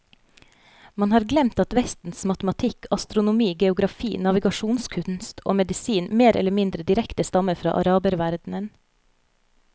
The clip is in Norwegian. Man har glemt at vestens matematikk, astronomi, geografi, navigasjonskunst og medisin mer eller mindre direkte stammer fra araberverdenen.